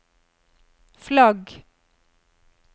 flagg